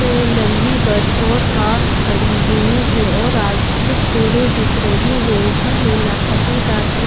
ये लम्बी बस और कार खड़ी हुई है और आगे कुछ पेड़े दिख रही है ऊपर नीला सफेद आसमान--